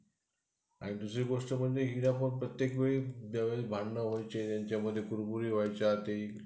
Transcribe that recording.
आणि दुसरी गोष्ट म्हणजे प्रत्येकवेळी ज्यावेळी भांडणं व्हायची ह्यांच्यामध्ये व्हायचे त्यावेळी